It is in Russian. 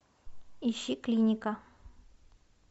ищи клиника